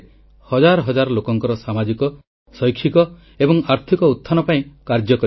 କର୍ଣ୍ଣାଟକର ଟୁମକୁର୍ ଜିଲ୍ଲାର ଶ୍ରୀ ସିଦ୍ଧଗଙ୍ଗା ମଠର ଡକ୍ଟର ଶ୍ରୀ ଶ୍ରୀ ଶ୍ରୀ ଶିବକୁମାର ସ୍ୱାମୀଜୀ ଆମଠାରୁ ଚିର ବିଦାୟ ନେଲେ